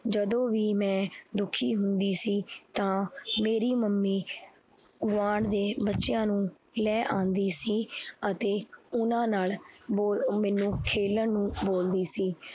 ਜਦੋਂ ਵੀ ਮੈਂ ਦੁੱਖੀ ਹੁੰਦੀ ਸੀ ਤਾਂ ਮੇਰੀ ਮੰਮੀ ਗੁਆਂਢ ਦੇ ਬੱਚਿਆਂ ਨੂੰ ਲੈ ਆਉਂਦੀ ਸੀ ਅਤੇ ਉਹਨਾਂ ਨਾਲ ਬੋਲ ਮੈਨੂੰ ਖੇਲਣ ਨੂੰ ਬੋਲਦੀ ਸੀ।